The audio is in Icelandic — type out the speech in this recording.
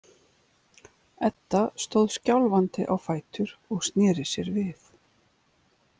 Edda stóð skjálfandi á fætur og sneri sér við.